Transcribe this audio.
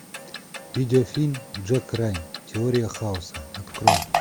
видеофильм джек райан теория хаоса открой